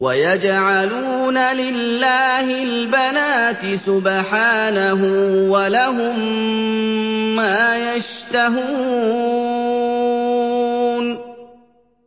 وَيَجْعَلُونَ لِلَّهِ الْبَنَاتِ سُبْحَانَهُ ۙ وَلَهُم مَّا يَشْتَهُونَ